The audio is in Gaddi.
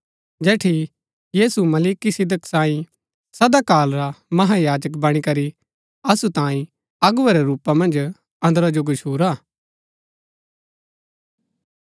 जेठी यीशु मलिकिसिदक सांईं सदा काल रा महायाजक बणी करी असु तांई अगुवै रै रूपा मन्ज अन्दरा जो गछूरा